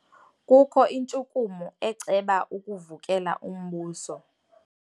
Kukho intshukumo eceba ukuvukela umbuso.